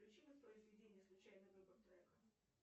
включи воспроизведение случайный выбор трека